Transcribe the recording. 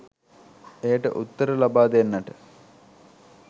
එයට උත්තර ලබා දෙන්නට